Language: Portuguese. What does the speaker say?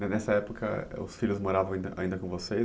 Nessa época os filhos moravam ainda ainda com vocês?